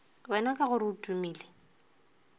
wena ka gore o tumile